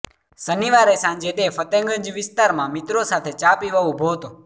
શનિવારે સાંજે તે ફતેગંજ વિસ્તારમાં મિત્રો સાથે ચા પીવા ઉભો હતો